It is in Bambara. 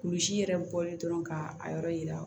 Kurusi yɛrɛ bɔlen dɔrɔn ka a yɔrɔ yira